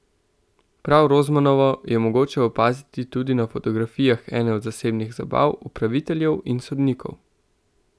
Prav Rozmanovo je mogoče opaziti tudi na fotografijah ene od zasebnih zabav upraviteljev in sodnikov.